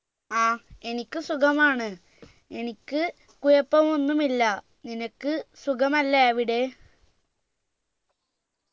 ആ എനിക്ക് സുഖമാണ് എനിക്ക് കുഴപ്പമൊന്നുമില്ല നിനക്ക് സുഖമല്ലേ അവിടെ